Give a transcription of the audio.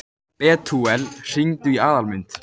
Betúel, hringdu í Aðalmund.